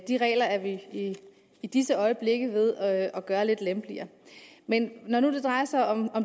de regler er vi i disse øjeblikke ved at gøre lidt lempeligere men når det drejer sig om